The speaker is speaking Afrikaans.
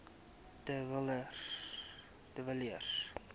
de villiers